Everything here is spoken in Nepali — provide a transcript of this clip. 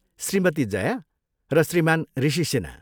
श्रीमती जया र श्रीमान ऋषि सिन्हा।